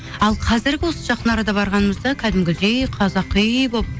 ал қазіргі осы жақын арада барғанымызда кәдімгідей қазақи болып